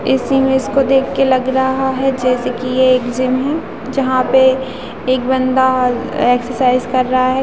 इस इमेज को देख के लग रहा है जैसे कि ये एक जिम है जहां पे एक बंदा एक्सरसाइज कर रहा है।